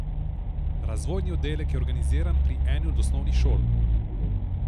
Razvojni oddelek je organiziran pri eni od osnovnih šol.